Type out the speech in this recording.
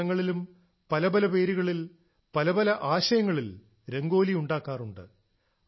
പല സ്ഥലങ്ങളിലും പല പല പേരുകളിൽ പല പല ആശയങ്ങളിൽ രംഗോലി ഉണ്ടാക്കാറുണ്ട്